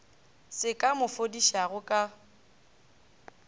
se ka mo fodišago ka